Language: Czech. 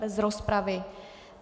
Bez rozpravy.